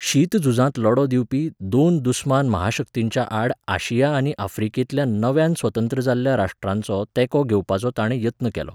शीतझुजांत लढो दिवपी दोन दुस्मान महाशक्तींच्या आड आशिया आनी आफ्रिकेंतल्या नव्यान स्वतंत्र जाल्ल्या राश्ट्रांचो तेंको घेवपाचो ताणें यत्न केलो.